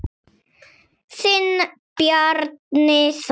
Þinn Bjarni Þór.